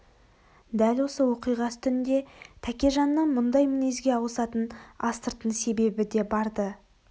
дәл осы оқиға үстінде тәкежанның мұндай мінезге ауысатын астыртын себебі де бар-ды